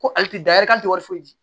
Ko ali tɛ da yɛrɛ k'a tɛ wari foyi di